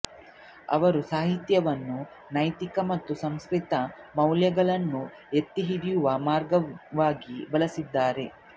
ಅವರು ಸಾಹಿತ್ಯವನ್ನು ನೈತಿಕ ಮತ್ತು ಸಾಂಸ್ಕೃತಿಕ ಮೌಲ್ಯಗಳನ್ನು ಎತ್ತಿಹಿಡಿಯುವ ಮಾರ್ಗವಾಗಿ ಬಳಸಿದ್ದಾರೆ